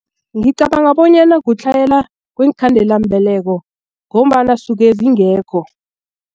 Ngicabanga bonyana kutlhayela kweenkhandelambeleko ngombana suke zingekho.